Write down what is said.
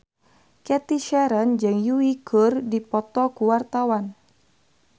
Cathy Sharon jeung Yui keur dipoto ku wartawan